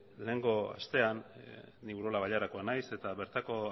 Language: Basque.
lehengo astean ni urola bailarakoa nahiz eta bertako